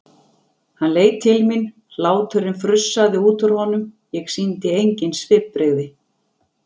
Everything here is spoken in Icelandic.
Hann leit til mín, hláturinn frussaðist út úr honum, ég sýndi engin svipbrigði.